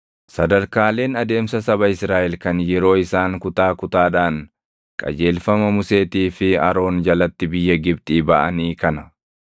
Sadarkaaleen adeemsa saba Israaʼel kan yeroo isaan kutaa kutaadhaan qajeelfama Museetii fi Aroon jalatti biyya Gibxii baʼanii kana.